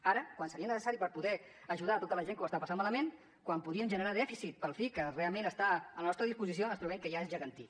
ara quan seria necessari per poder ajudar tota la gent que ho està passant malament quan podríem generar dèficit pel fi que realment està a la nostra disposició ens trobem que ja és gegantí